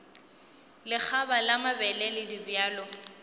lekgaba la mabele le dibjalo